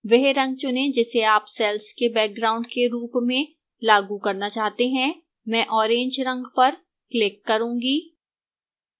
वह रंग चुनें जिसे आप cells के background के रूप में लागू करना चाहते हैं मैं orange रंग पर क्लिक करूंगी